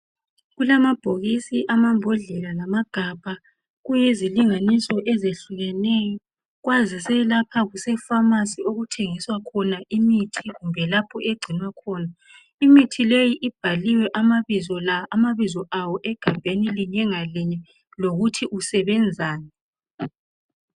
kulamabhokisi amambodlelalamagabhakuyizilingniso ezihlukeneyo kwazise lapha kusefamasi lapho okuthengiswa khona imithi kumbe lapho egcinwa khona, imithi leyi ibhaliwe amabizo lawa egabhenilinye ngalinye imithileyi ibhaliwe ukuthi isebenzani.